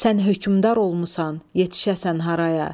Sən hökmdar olmusan, yetişəsən haraya.